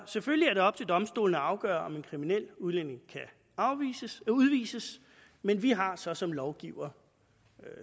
selvfølgelig er det op til domstolene at afgøre om en kriminel udlænding kan udvises men vi har så som lovgivere